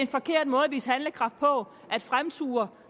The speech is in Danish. vise handlekraft på at fremture